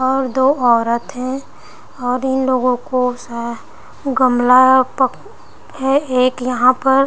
और दो औरत है और इन लोगो को स है गमला पक हैं एक यहाँ पर--